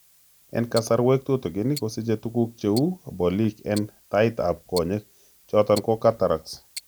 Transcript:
En kasarwek tutigin, kosiche tuguk cheu bolik en tait ab konyek choton ko cataracts